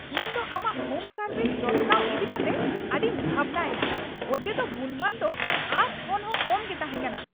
ᱤᱧ ᱫᱚ ᱟᱢᱟᱜ ᱦᱳᱢ ᱥᱟᱨᱵᱷᱤᱥ ᱡᱚᱛᱱᱟᱣ ᱤᱫᱤᱠᱟᱛᱮ ᱟᱹᱰᱤᱧ ᱵᱷᱟᱵᱱᱟᱭᱮᱱᱟ ᱚᱡᱮᱫᱚ ᱜᱩᱱᱢᱟᱱ ᱫᱚ ᱟᱸᱥ ᱠᱷᱚᱱᱦᱚᱸ ᱠᱚᱢ ᱜᱮ ᱛᱟᱦᱮᱸ ᱠᱟᱱᱟ ᱾